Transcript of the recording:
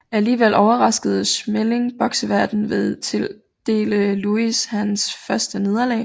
Alligevel overraskede Schmeling bokseverdenen ved at tildele Louis hans første nederlag